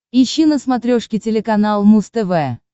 ищи на смотрешке телеканал муз тв